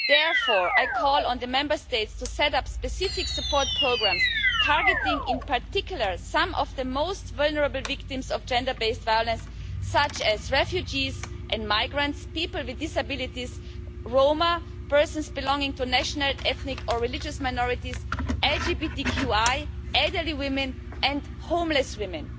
Therefore, I call on the Member States to set up specific support programmes targeting, in particular, some of the most vulnerable victims of gender based violence, such as refugees and migrants, people with disabilities, Roma, persons belonging to national ethnic or religious minorities, LGBTQI, elderly women and homeless women.